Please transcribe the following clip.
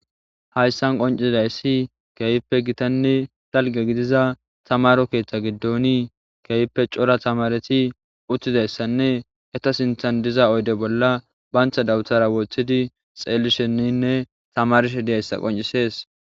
hayssan qoncidayssi keeyippe gitanne dalge gidiza tamaro keeththa giddoni keeyppe cora tamareti uttizayssanne eta sinthan diza oyde bolla bantha dawuthara wothidi xeelli shenninne tamarshe diyayssa qoncisees